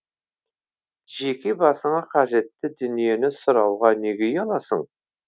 жеке басыңа қажетті дүниені сұрауға неге ұяласың